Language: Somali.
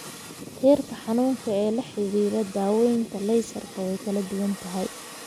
Heerka xanuunka ee la xidhiidha daaweynta laysarka way kala duwan tahay.